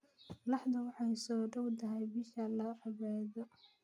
Laxdu waxay soo dhowdahay bisha la cibaado.